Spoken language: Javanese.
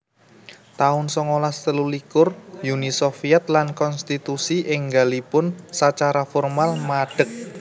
taun songolas telulikur Uni Soviet lan konstitusi énggalipun sacara formal madeg